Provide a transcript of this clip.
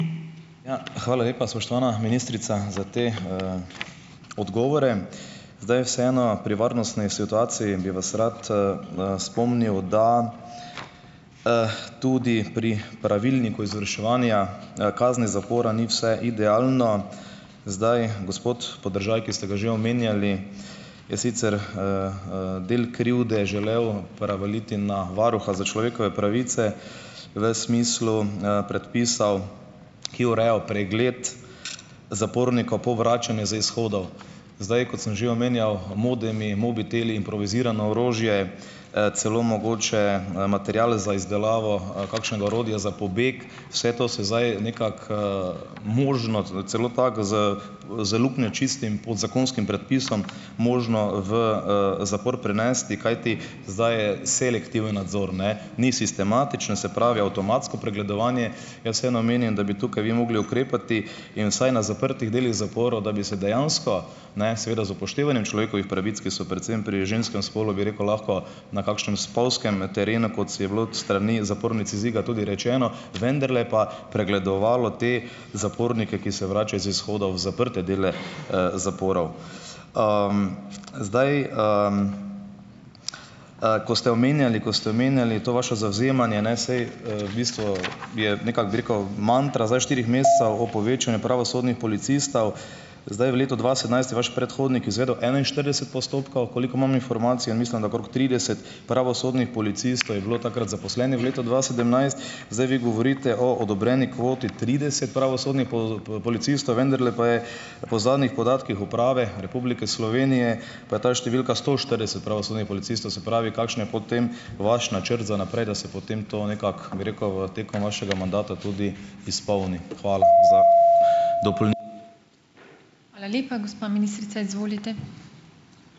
Ja, hvala lepa, spoštovana ministrica za te odgovore. Zdaj, vseeno pri varnostni situaciji bi vas rad, spomnil, da tudi pri pravilniku izvrševanja, kazni zapora ni vse idealno. Zdaj, gospod Podržaj, ki ste ga že omenjali je sicer del krivde želel prevaliti na varuha za človekove pravice, v smislu, predpisov, ki urejal pregled zapornikov po vračanju z izhodov. Zdaj, kot sem že omenjal, modemi, mobiteli in improvizirano orožje, celo mogoče, material za izdelavo kakšnega orodja za pobeg, vse to se zdaj nekako možno celo tako z z luknjo, čistim podzakonskim predpisom, možno v, zapor prenesti, kajti zdaj je selektivni nadzor, ne, ni sistematično, se pravi, avtomatsko pregledovanje. Jaz vseeno menim, da bi tukaj vi mogli ukrepati in vsaj na zaprtih delih zaporov, da bi se dejansko, ne, seveda z upoštevanjem človekovih pravic, ki so predvsem pri ženskem spolu, bi rekel, lahko na kakšnem spolzkem terenu, kot je bilo s strani zapornic iz Iga tudi rečeno, vendarle pa pregledovalo te zapornike, ki se vračajo z izhoda v zaprte dele zaporov. Zdaj, ko ste omenjali, ko ste omenjali to vašo zavzemanje, ne, saj, v bistvu je nekako, bi rekel, mantra zdaj v štirih mesecev o povečanju pravosodnih policistov. Zdaj, v letu dva sedemnajst je vaš predhodnik izvedel enainštirideset postopkov, koliko imam informacij mislim, da okrog trideset pravosodnih policistov je bilo takrat zaposlenih v letu dva sedemnajst, zdaj vi govorite o odobreni kvoti trideset pravosodnih policistov, vendarle pa je po zadnjih podatkih Uprave Republike Slovenije, pa je ta številka sto štirideset pravosodnih policistov. Se pravi, kakšen potem vaš načrt za naprej, da se potem to nekako, bi rekel, v tekom vašega mandata tudi izpolni?